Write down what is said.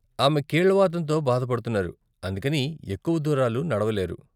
ఆమె కీళ్ళ వాతం తో బాధ పడుతున్నారు, అందుకని ఎక్కువ దూరాలు నడవలేరు.